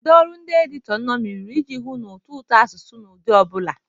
Kedu ọrụ ndị editọ nnomi rụrụ iji hụ na ụtọ ụtọ asụsụ na ụdị ọ bụla?